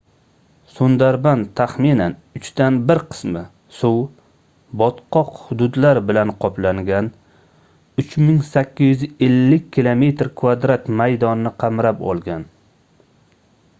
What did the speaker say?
sundarban taxminan uchdan bir qismi suv/botqoq hududlar bilan qoplangan 3850 km² maydonni qamrab olgan